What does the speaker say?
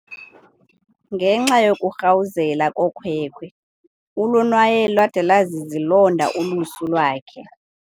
Ngenxa yokurhawuzela kokhwekhwe ulonwaye lwade lwazizilonda ulusu lwakhe.